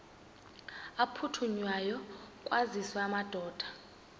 aphuthunywayo kwaziswe amadoda